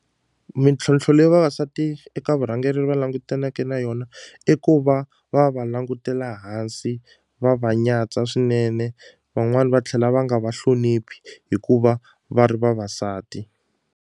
Mintlhontlho leyi vavasati eka vurhangeri va langutaneke na yona i ku va va va langutela hansi va va nyatsa swinene van'wani va tlhela va nga vahloniphi hikuva va ri vavasati.